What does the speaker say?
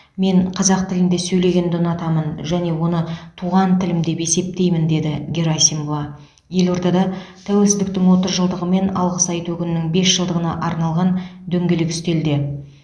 мен қазақ тілінде сөйлегенді ұнатамын және оны туған тілім деп есептеймін деді герасимова елордада тәуелсіздіктің отыз жылдығы мен алғыс айту күнінің бес жылдығына арналған дөңгелек үстелде